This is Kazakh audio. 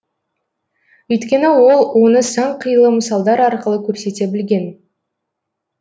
өйткені ол оны сан қилы мысалдар арқылы көрсете білген